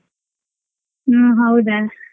ಹ್ಮ್ ಹೌದಾ.